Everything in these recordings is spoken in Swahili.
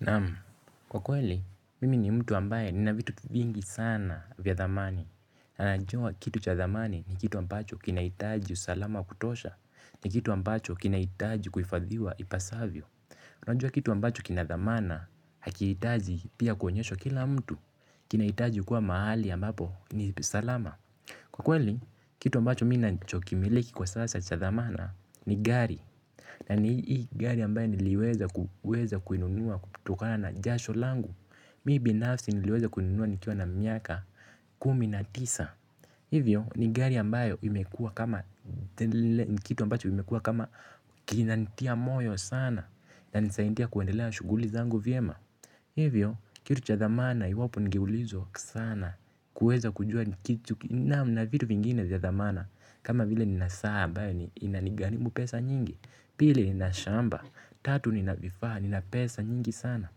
Naam kwa kweli, mimi ni mtu ambaye nina vitu vingi sana vya thamani. Na najua kitu cha thamani ni kitu ambacho kinahitaji usalama kutosha. Ni kitu ambacho kinahitaji kufahidhiwa ipasavyo. Najua kitu ambacho kinathamana hakihitaji pia kuonyeshwa kila mtu. Kinahitaji kuwa mahali ambapo ni salama. Kwa kweli, kitu ambacho mi ninachokimiliki kwa sasa cha dhamana ni gari. Na ni hii gari ambayo niliweza kuweza kuinunua kutokana na jasho langu. Mi binafsi niliweza kuinunua nikiwa na miaka kumi na tisa. Hivyo ni gari ambayo imekuwa kama ni kitu ambacho imekuwa kama kinanitia moyo sana. Na nisaindia kuendelea shughuli zangu vyema. Hivyo kitu cha thamana iwapo nigeulizwa sana kuweza kujua na vitu vingine vya thamana kama vile ni na saa ambayo inanigarimu pesa nyingi. Pili nina shamba, tatu nina vifaa, nina pesa nyingi sana.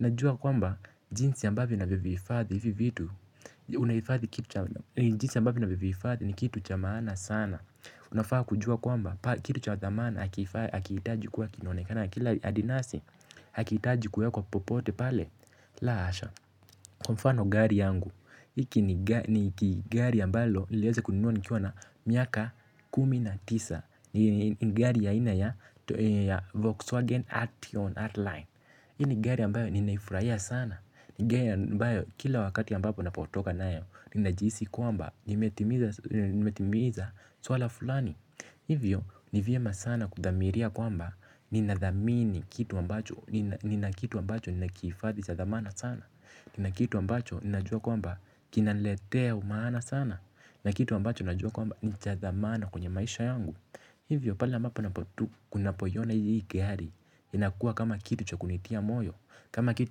Najua kwamba, jinsi ambavyo ninavyo vihifadhi hivi vitu. Jinsi ambavyo ninavyo vihifadhi ni kitu cha maana sana. Unafaa kujua kwamba, kitu cha dhamana hakihitaji kuwa kinaonekana kila adinasi hakihitaji kuwekwa popote pale. La asha, kwa mfano gari yangu. Iki ni gari ambalo, niliweza kununua nikiwa na miaka kumi na tisa. Ni gari ya aina ya Volkswagen Artion Artline hii ni gari ambayo ninaifurahia sana. Ni gari ambayo kila wakati ambapo napotoka nayo nina jihisi kwamba nimetimiza swala fulani. Hivyo ni vyema sana kudhamiria kwamba ninadhamini kitu ambacho nina kitu ambacho nina kihifadhi cha thamana sana. Nina kitu ambacho ninajua kwamba kinaniletea maana sana. Nina kitu ambacho ninajua kwamba ni cha dhamana kwenye maisha yangu. Hivyo pale ambapo unapoiona hii gari inakuwa kama kitu cha kuninitia moyo. Kama kitu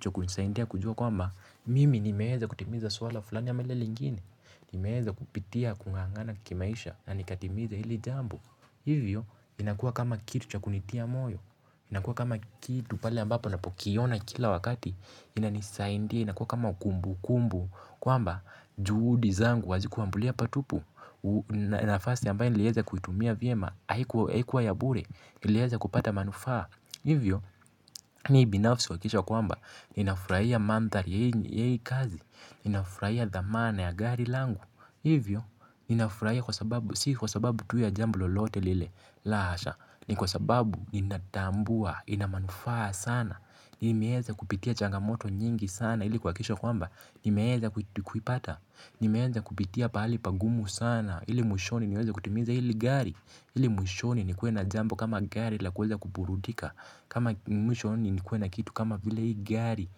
cha kunisaidia kujua kwamba mimi nimeweza kutimiza swala fulani ama lile lingine. Nimeweza kupitia kung'ang'ana kimaisha. Na nikatimiza hili jambo. Hivyo inakua kama kitu cha kunitia moyo. Inakua kama kitu pale ambapo napokiona kila wakati. Inanisaidia inakua kama kumbu kumbu. Kwamba juhudi zangu hazikuambulia pa tupu. Nafasi ambayo nileweza kuitumia vyema haikuwa ya bure. Nileweza kupata manufaa. Hivyo mi binafsi huhakikisha kwamba ninafurahia mandhari ya hii kazi. Nina furahia dhamana ya gari langu. Hivyo nina furahia kwa sababu sisi kwa sababu tu ya jambo lolote lile. La hasha. Ni kwa sababu Ninatambua Ina manufaa sana. Nimeweza kupitia changamoto nyingi sana ili kwa kuhakikisha kwamba nimeweza kuipata kupitia pa hali pagumu sana ili mwishoni niweza kutimiza hili gari. Hili mwishoni nikuwe na jambo kama gari la kuweza kuburudika. Kama mwishoni nikuwe kitu kama vile hii gari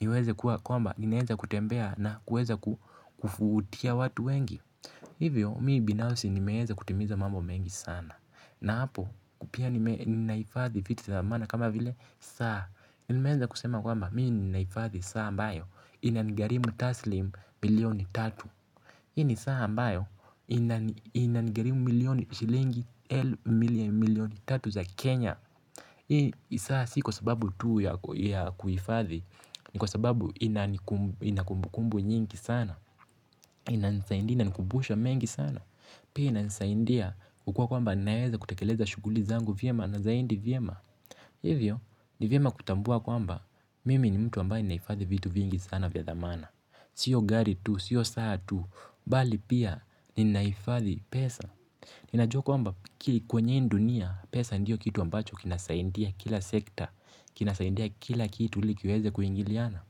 niweze kuwa kwamba ninaweza kutembea na kuweza kuvutia watu wengi. Hivyo mi binafsi nimeweza kutimiza mambo mengi sana. Na hapo pia ni ninahifadhi vifitu za maana kama vile saa. Nimeweza kusema kwamba mi ninaifadhi saa mbayo inangharimu taslim milioni tatu. Hii ni saa ambayo inangharimu milioni shilingi milioni tatu za Kenya. Hii saa si kwa sababu tu ya kuhifadhi ni kwa sababu ina kumbukumbu nyingi sana. Inanisaidia inanikumbusha mengi sana pia inansaindia ukua kwamba naeza kutekeleza shughuli zangu vyema na zaindi vyema. Hivyo ni vyema kutambua kwamba mimi ni mtu ambaye ninahifadhi vitu vingi sana vya dhamana. Sio gari tu, sio saa tu bali pia ninahifadhi pesa ninajua kwamba kwenye hii dunia pesa ndiyo kitu ambacho kinasaidia kila sekta kinasaindia kila kitu ili kiweze kuingiliana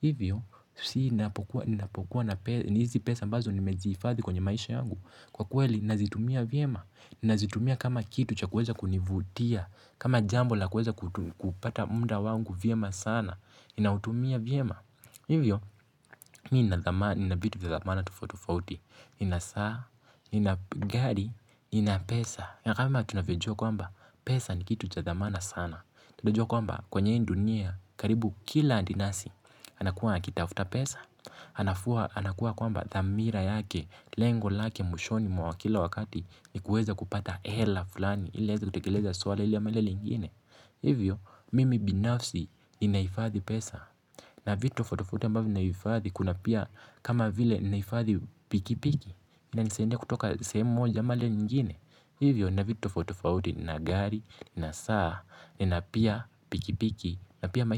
hivyo si ninapokuwa na hizi pesa ambazo nimezihifadhi kwenye maisha yangu kwa kweli nina zitumia vyema ninazitumia kama kitu cha kuweza kunivutia kama jambo la kuweza kupata muda wangu vyema sana ninautumia vyema hivyo mi nina vitu vya dhamana tofauti tofauti. Nina saa, nina gari, nina pesa na kama tunavyojua kwamba pesa ni kitu cha dhamana sana. Tunavyo kwamba kwenye hii dunia karibu kila andinasi anakua akitafuta pesa, anakua kwamba dhamira yake lengo lake mwishoni mwa kila wakati ni kuweza kupata hela fulani ili aweza kutekeleza swala hili ama lile lingine. Hivyo, mimi binafsi ninahifadhi pesa. Na vitu tofauti tofauti ambavyo ninahifadhi kuna pia kama vile ninahifadhi pikipiki inanisaidia kutoka sehemu moja ama ile ingine hivyo nina vitu tofauti tofauti nina gari, nina saa, nina pia pikipiki na pia maisha.